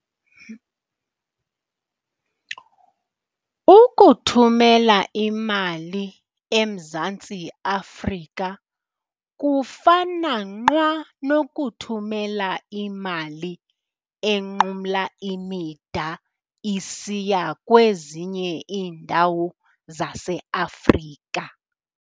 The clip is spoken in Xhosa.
Ukuthumela imali eMzantsi Afrika kufana nqwa nokuthumela imali enqumla imida isiya kwezinye iindawo zaseAfrika.